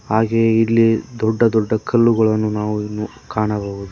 ಹಾಗೆ ಇಲ್ಲಿ ದೊಡ್ಡ ದೊಡ್ಡ ಕಲ್ಲುಗಳನ್ನು ನಾವು ಇನ್ನೂ ಕಾಣಬಹುದು.